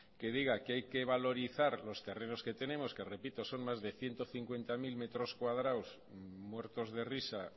que diga que hay que valorizar los terrenos que tenemos que repito son más de ciento cincuenta mil metros cuadrados muertos de risa